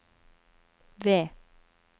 V